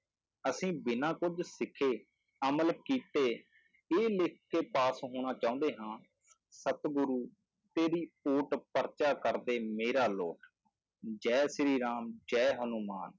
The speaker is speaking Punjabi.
ਅਸੀਂ ਬਿਨਾਂ ਕੁੱਝ ਸਿੱਖੇ ਅਮਲ ਕੀਤੇ ਇਹ ਲਿਖਕੇ ਪਾਸ ਹੋਣਾ ਚਾਹੁੰਦੇ ਹਾਂ ਸਤਿਗੁਰੂ ਤੇਰੀ ਓਟ ਪਰਚਾ ਕਰਦੇ ਮੇਰਾ ਲੋਟ, ਜੈ ਸ੍ਰੀ ਰਾਮ ਜੈ ਹਨੂੰਮਾਨ